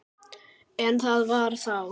En það var þá.